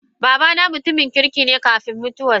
Babana mutumin kirki ne karfin mutuwar sa.